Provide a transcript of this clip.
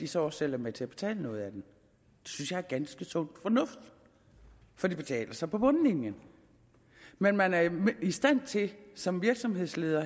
så også selv er med til at betale noget af den det synes jeg er ganske sund fornuft for det betaler sig på bundlinjen men man er i stand til som virksomhedsleder